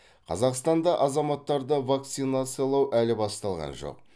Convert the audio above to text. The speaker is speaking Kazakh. қазақстанда азаматтарды вакцинациялау әлі басталған жоқ